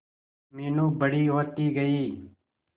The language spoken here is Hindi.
मीनू बड़ी होती गई